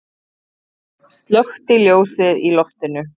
Slökkti ljósið í loftinu.